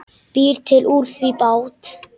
Býr til úr því bát.